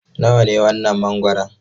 Nawa ne wannan mangoron?